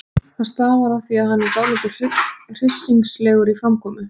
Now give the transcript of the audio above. Það stafar af því að hann er dálítið hryssingslegur í framkomu.